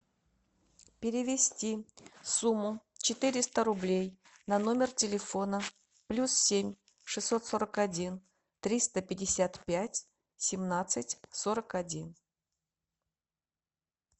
перевести сумму четыреста рублей на номер телефона плюс семь шестьсот сорок один триста пятьдесят пять семнадцать сорок один